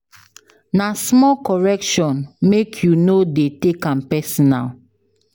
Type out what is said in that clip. Na small correction, make you no dey take am personal.